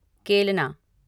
केलना